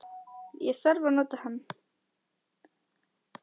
Ég þarf að nota hann